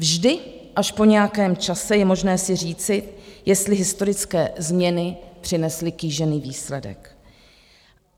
Vždy až po nějakém čase je možné si říci, jestli historické změny přinesly kýžený výsledek.